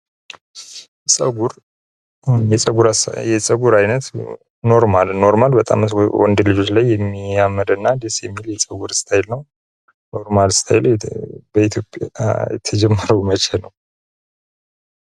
ፀጉር የፀጉር አይነት ሁኖ ኖርማል ፦ ኖርማል ወንድ ልጆች ላይ የሚያምር እና ደስ የሚል የፀጉር እስታይል ነው ። ኖርማል ስታይል በኢትዮጵያ የተጀመረው መቼ ነው ?